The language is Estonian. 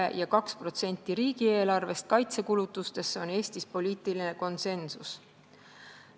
See, et 2% riigieelarvest läheb kaitsekulutustesse, on Eestis poliitiline konsensus.